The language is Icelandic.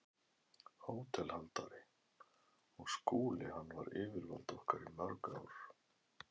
HÓTELHALDARI: Og Skúli- hann var yfirvald okkar í mörg ár.